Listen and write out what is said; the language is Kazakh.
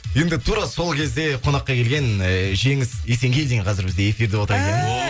енді тура сол кезде қонаққа келген ыыы жеңіс есенгелдин қазір бізде эфирде отыр